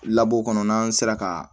labɔ kɔnɔ n'an sera ka